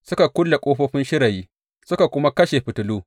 Suka kulle ƙofofin shirayi, suka kuma kashe fitilu.